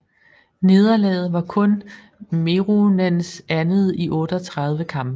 Nederlaget var kun Meronens andet i 38 kampe